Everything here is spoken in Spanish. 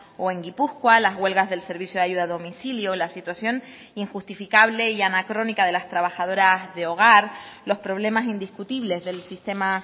o en gipuzkoa las huelgas del servicio de ayuda a domicilio la situación injustificable y anacrónica de las trabajadoras de hogar los problemas indiscutibles del sistema